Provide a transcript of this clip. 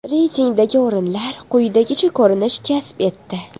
Reytingdagi o‘rinlar quyidagicha ko‘rinish kasb etdi.